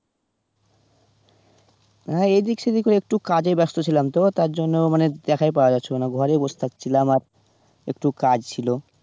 না এদিক সেদিক ও একটু কাজে ব্যাস্ত ছিলাম তো, তার জন্য মানে দেখাই পাওয়া যাচ্ছিলো না ঘরে বসে থাকছিলাম, আর একটু কাজ ছিল